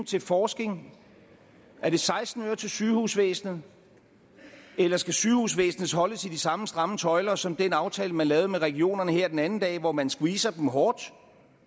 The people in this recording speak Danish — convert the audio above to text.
til forskning er det seksten øre til sygehusvæsenet eller skal sygehusvæsenet holdes i de samme stramme tøjler som i den aftale man lavede med regionerne her den anden dag hvor man har squeezet dem hårdt